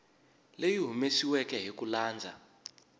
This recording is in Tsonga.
leyi humesiweke hi ku landza